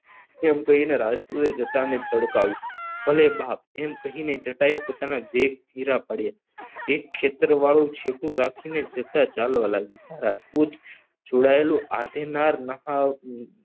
એમ કહીને રાજપુતી જટાને તડકાવ્યું ભલે બાપ એમ કહીને જટાય પોતાના વેણ ધીમા પડ્યા એ ખેતર વાળું સેતુ રાખીને જટા ચાલવા લાગ્યો જ્યાં રાજપુત જોડાયેલું આધીનાર